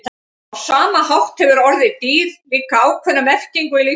á sama hátt hefur orðið „dýr“ líka ákveðna merkingu í líffræði